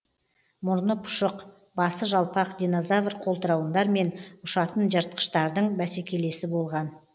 мұрны пұшық басы жалпақ динозавр қолтырауындар мен ұшатын жыртқыштардың бәсекелесі болған